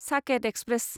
Saket express